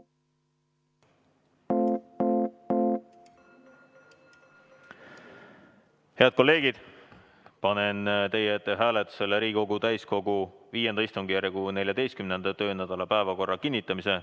Head kolleegid, panen teie ette hääletusele Riigikogu täiskogu V istungjärgu 14. töönädala päevakorra kinnitamise.